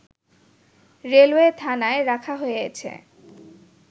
railway থানায় রাখা হয়েছে